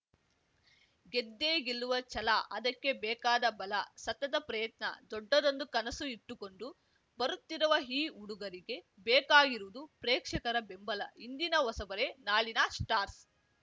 ಗೆದ್ದೇ ಗೆಲ್ಲುವ ಛಲ ಅದಕ್ಕೆ ಬೇಕಾದ ಬಲ ಸತತ ಪ್ರಯತ್ನ ದೊಡ್ಡದೊಂದು ಕನಸು ಇಟ್ಟುಕೊಂಡು ಬರುತ್ತಿರುವ ಈ ಹುಡುಗರಿಗೆ ಬೇಕಾಗಿರುವುದು ಪ್ರೇಕ್ಷಕರ ಬೆಂಬಲ ಇಂದಿನ ಹೊಸಬರೇ ನಾಳೆಯ ಸ್ಟಾರ್ಸ್